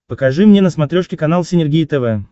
покажи мне на смотрешке канал синергия тв